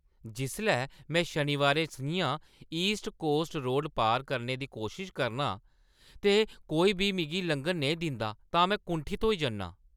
जिसलै में शनीबारें सʼञां ईस्ट कोस्ट रोड पार करने दी कोशश करना आं ते कोई बी मिगी लंघन नेईं दिंदा तां में कुंठत होई जन्नां।